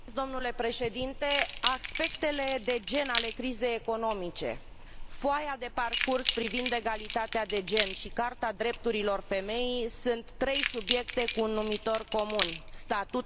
Aspectele de gen ale crizei economice, foaia de parcurs privind egalitatea de gen și Carta drepturilor femeii sunt trei subiecte cu un numitor comun statutul femeii în societate.